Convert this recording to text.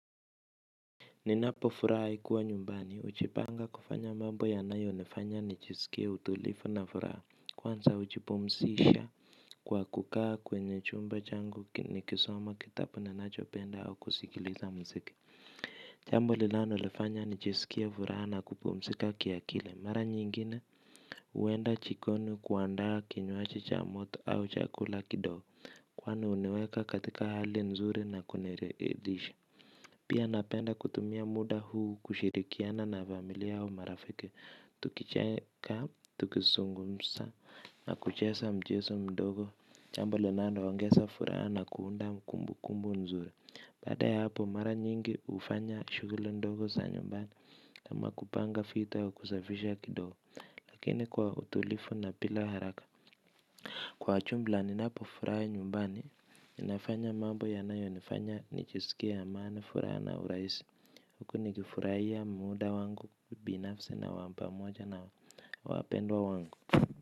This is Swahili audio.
Ninapo furahi kuwa nyumbani hujipanga kufanya mambo yanayonifanya nijiskie utulivu na furaha. Kwanza hujipumzisha. Kwa kukaa kwenye chumba changu nikisoma kitabu ninachopenda au kusikiliza muziki. Jambo linalonifanya nijisikie furaha na kupumzika kiakili. Mara nyingine huenda jikoni kuandaa kinywaji cha moto au chakula kidogo. Kwani huniweka katika hali nzuri na kuniridhisha. Pia napenda kutumia muda huu kushirikiana na familia au marafiki, tukicheka, tukizungumza, na kucheza michezo midogo. Jambo linaloongeza furaha na kuunda kumbu kumbu nzuri. Baada ya hapo, mara nyingi hufanya shughuli ndogo za nyumbani kama kupanga vitu au kusafisha kidogo. Lakini kwa utulivu na bila haraka. Kwa jumla, ninapofurahi nyumbani ninafanya mambo yanayonifanya nijisikie amani furaha na urahisi, huku nikifurahia muda wangu binafsi na wa pamoja na wapendwa wangu.